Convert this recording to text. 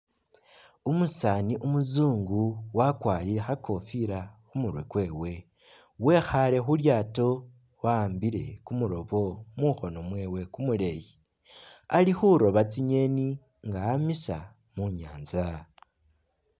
Umusaani umuzungu wakwarire kha kofila khu murwe kwewe, wekhaale khu lyaato wa'ambile kumurobo mukhoono mwewe kumuleeyi ali khuroba tsingeeni nga amisa mu nyaanza.